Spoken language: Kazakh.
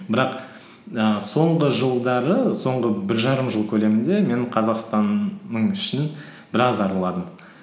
бірақ ііі соңғы жылдары соңғы бір жарым жыл көлемінде мен қазақстанның ішін біраз араладым